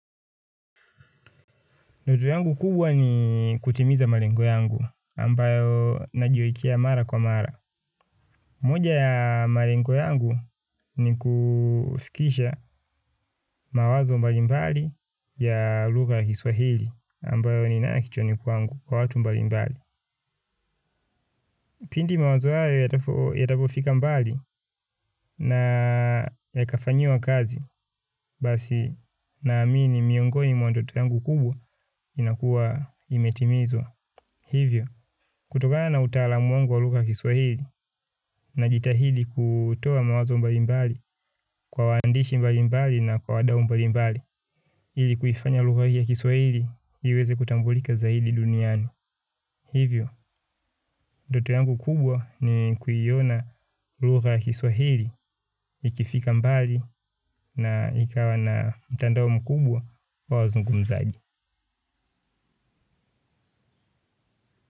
Ndoto yangu kubwa ni kutimiza malengo yangu, ambayo najiwekea mara kwa mara. Moja ya malengo yangu ni kufikisha mawazo mbalimbali ya lugha ya kiswahili, ambayo ninayo kichwani kwangu kwa watu mbalimbali. Pindi mawazo hayo yatavofika mbali na yakafanyiwa kazi, basi naamini miongoni mwa ndoto yangu kubwa inakua imetimizwa hivyo. Kutokana na utalaam wangu wa lugha ya kiswahili najitahili kutoa mawazo mbali mbali kwa waandishi mbalimbali na kwa wadau mbali mbali. Ili kuifanya lugha hii ya kiswahili iweze kutambulika zaidi duniani. Hivyo, ndoto yangu kubwa ni kuiona lugha ya kiswahili ikifika mbali na ikawa na mtandao mkubwa wa wazungumzaji.